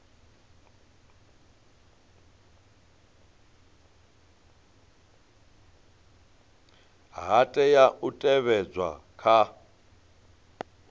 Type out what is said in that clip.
ha tea u teavhedzwa kha